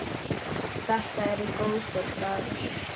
Þetta eru góðir dagar.